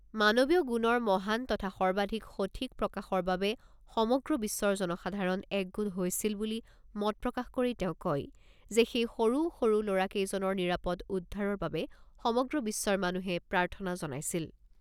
মানৱীয় গুণৰ মহান তথা সৰ্বাধিক সঠিক প্ৰকাশৰ বাবে সমগ্ৰ বিশ্বৰ জনসাধাৰণ একগোট হৈছিল বুলি মত প্ৰকাশ কৰি তেওঁ কয় যে সেই সৰু সৰু ল'ৰা কেইজনৰ নিৰাপদ উদ্ধাৰৰ বাবে সমগ্ৰ বিশ্বৰ মানুহে প্ৰাৰ্থনা জনাইছিল।